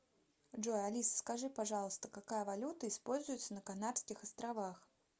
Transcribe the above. джой алиса скажи пожалуйста какая валюта используется на канарских островах